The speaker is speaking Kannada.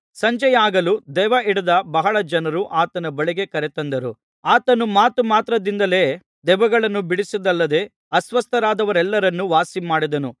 ಸಂಜೆಯಾಗಲು ದೆವ್ವಹಿಡಿದ ಬಹಳ ಜನರನ್ನು ಆತನ ಬಳಿಗೆ ಕರೆತಂದರು ಆತನು ಮಾತು ಮಾತ್ರದಿಂದಲೇ ದೆವ್ವಗಳನ್ನು ಬಿಡಿಸಿದ್ದಲ್ಲದೆ ಅಸ್ವಸ್ಥರಾದವರೆಲ್ಲರನ್ನು ವಾಸಿಮಾಡಿದನು